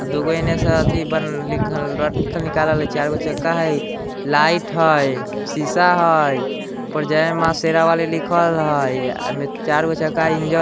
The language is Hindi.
चारगो चक्का हाय लाइट हाय शीशा हाय जय मा शेरोवाली लिखल हाए ऐमे चार गो चक्का--